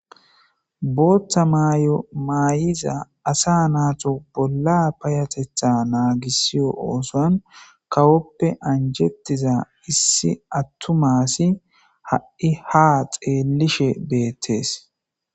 bootta mayo maayiza asa naato bolla payatetha naagissiyo ooson kawoppe anjettiza issi attu maassi ha7i ha xeelishe beettees